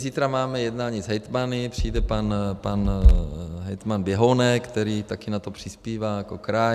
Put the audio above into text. Zítra máme jednání s hejtmany, přijde pan hejtman Běhounek, který taky na to přispívá jako kraj.